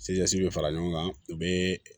bɛ fara ɲɔgɔn kan u bɛ